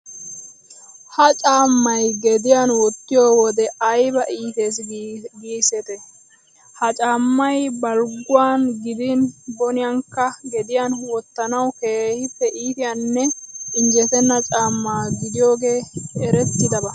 Ha caammay gediyan wottiyo wode ayba iitees giisetii. Ha caammay balgguwan gidin boniyankka gediyan wottanawu keehippe iitiyanne injjetenna caamma gidiyogee erettidaba.